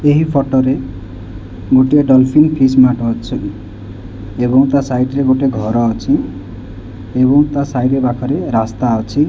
ଏହି ଫଟୋ ରେ ଗୋଟିଏ ଡଲଫିନ ଫିସ ମାର୍ଟ ଅଛି ଏବଂ ତା ସାଇଡ୍ ରେ ଗୋଟେ ଘର ଅଛି ଏବଂ ତା ସାଇଡ୍ ପାଖରେ ରାସ୍ତା ଅଛି।